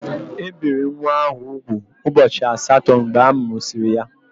E biri nwa ahụ úgwù ụbọchị asatọ mgbe amụsịrị ya.